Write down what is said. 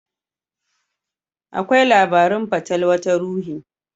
Akwai labarun fatalwa ta ruhi.